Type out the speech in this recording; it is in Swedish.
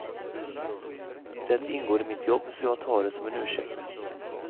Det ingår i mitt jobb så jag tar det som en ursäkt.